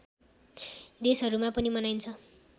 देशहरूमा पनि मनाइन्छ